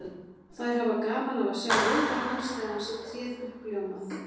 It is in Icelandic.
Og þær hafa gaman af að sjá viðbrögð hans þegar hann sér tréð uppljómað.